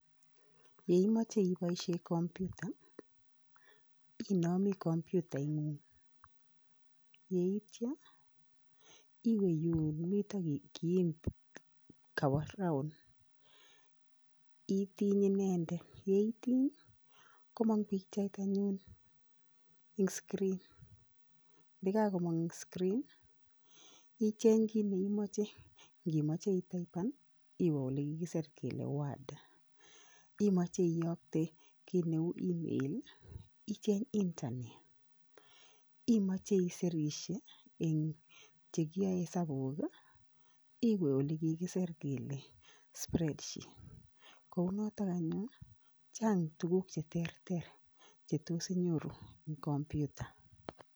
Yeimoche iboisie computer inomi computaing'ung, yeityo iwe yun mito kiin kowo round, itiny inendet, ye itiny komong pikchait anyun ing screen ndakakomong eng screen ii, icheng kiit ne imoche, ngimoche itaipan ii, iwe ole kikisir kele word, imoche iyokte kiit neu email ii, icheny internet, imoche isiresie eng che kiyoe hesabuk ii, iwe ole kikiser kele spread sheet. Kounotok anyun ii chang tuguk che terter che tos inyoru eng computer.